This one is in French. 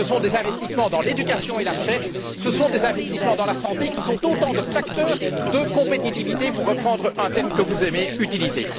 Ce sont des investissements dans l'éducation et la recherche, des investissements dans la santé, qui sont autant de facteurs de compétitivité, pour reprendre un terme que vous aimez utiliser.